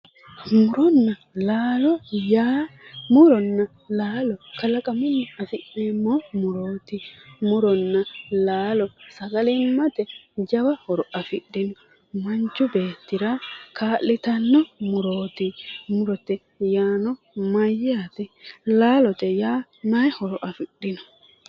Muronna laalo yaa muronna laalo kalaqamunni afi'neemo murooti muronna laalo sagalimate jawa horo afidhino manichu beetira kaa'litanno murooti murote yaano Mayyaate laaloye yaa mayi horo afidhino?